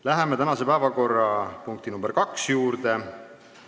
Läheme tänase päevakorrapunkti nr 2 juurde.